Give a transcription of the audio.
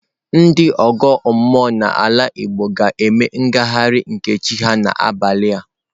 Ndị ọgọ mmụọ nọ n'ala Igbo ga-eme ngagharị nke chi ha n'abalị a.